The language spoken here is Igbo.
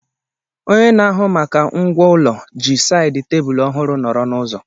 Onye na-ahụ maka ngwá ụlọ ji sáyid tebụlu ọhụrụ nọro n'ụzọ